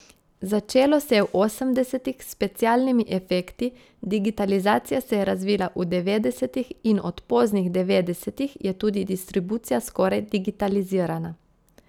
Začelo se je v osemdesetih s specialnimi efekti, digitalizacija se je razvijala v devetdesetih in od poznih devetdesetih je tudi distribucija skoraj digitalizirana.